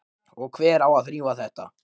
Og hver á að þrífa þetta?